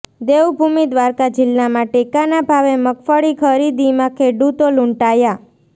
દેવભૂમિ દ્વારકા જિલ્લામાં ટેકાના ભાવે મગફળી ખરીદીમાં ખેડૂતો લૂંટાયા